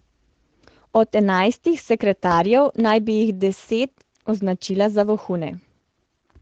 Od enajstih sekretarjev naj bi jih deset označila za vohune.